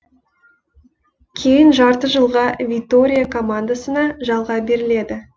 кейін жарты жылға витория командасына жалға беріледі